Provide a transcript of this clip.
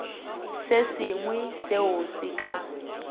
se sengwe seo se ka